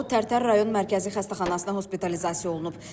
O, Tərtər rayon Mərkəzi Xəstəxanasına hospitalizasiya olunub.